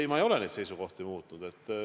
Ei, ma ei ole oma seisukohti muutnud.